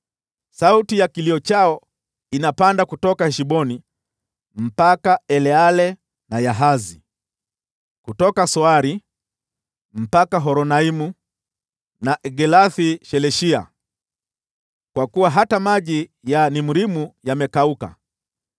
“Sauti ya kilio chao inapanda kutoka Heshboni hadi Eleale na Yahazi, kutoka Soari hadi Horonaimu na Eglath-Shelishiya, kwa kuwa hata maji ya Nimrimu yamekauka.